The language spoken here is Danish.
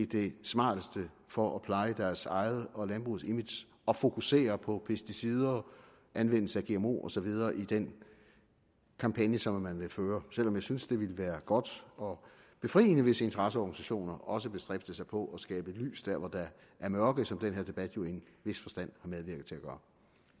det smarteste for at pleje deres eget og landbrugets image at fokusere på pesticider anvendelse af gmo og så videre i den kampagne som man vil føre selv om jeg synes det ville være godt og befriende hvis interesseorganisationer også bestræbte sig på at skabe lys der hvor der er mørke som den her debat jo i en vis forstand har medvirket til at gøre